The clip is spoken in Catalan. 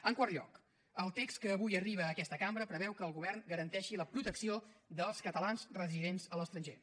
en quart lloc el text que avui arriba a aquesta cambra preveu que el govern garanteixi la protecció dels catalans residents a l’estranger